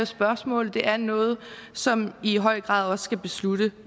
spørgsmål det er noget som i høj grad også skal besluttes